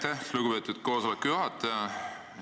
Aitäh, lugupeetud koosoleku juhataja!